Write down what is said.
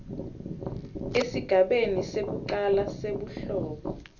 esigabeni sekucala sebuhlobo